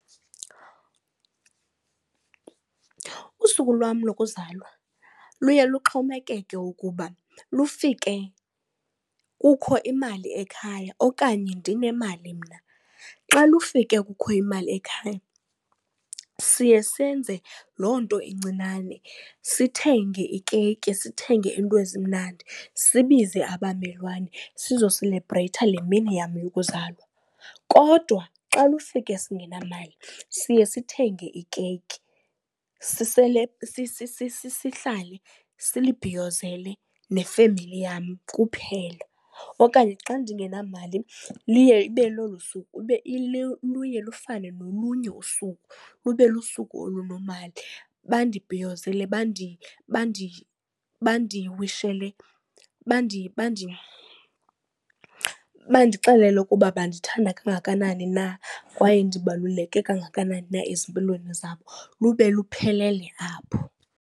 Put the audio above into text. Usuku lwam lokuzalwa luye luxhomekeke ukuba lufike kukho imali ekhaya okanye ndinemali mna. Xa lufike kukho imali ekhaya siye senze loo nto incinane sithenge ikeyiki, sithenge iinto ezimnandi, sibize abamelwane sizoselebreyitha le mini yam yokuzalwa. Kodwa xa lufike singenamali siye sithenge ikeyiki sihlale, silibhiyozele nefemeli yam kuphela. Okanye xa ndingenamali luye lufane nolunye usuku lube lusuku olunomali, bandibhiyozele bandixelele ukuba bandithanda kangakanani na, kwaye ndibaluleke kangakanani na ezimpilweni zabo lube luphelele apho.